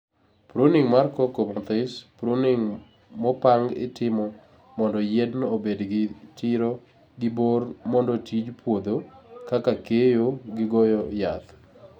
pruning mar cocoa mathis, pruning mopang itimo mondo yienno obed gi tiro gi borr mondo tij puodho (kaka keyo gi goyo yath)